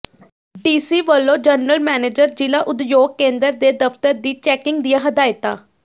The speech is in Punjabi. ਡੀਸੀ ਵੱਲੋਂ ਜਨਰਲ ਮੈਨੇਜਰ ਜ਼ਿਲ੍ਹਾ ਉਦਯੋਗ ਕੇਂਦਰ ਦੇ ਦਫ਼ਤਰ ਦੀ ਚੈਕਿੰਗ ਦੀਆਂ ਹਦਾਇਤਾਂ